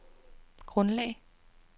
grundlag